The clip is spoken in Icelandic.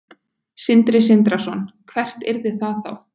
Sindri Sindrason: Hvert yrði það þá?